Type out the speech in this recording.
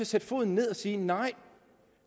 sætte foden ned og sige nej